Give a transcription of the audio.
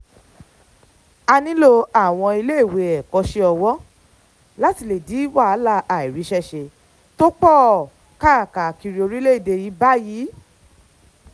a nílò àwọn iléèwé ẹ̀kọ́ṣẹ́ ọwọ́ láti lè dín wàhálà àìríṣẹ́ ṣe tó pọ̀ káàkiri orílẹ̀‐èdè yìí báyìí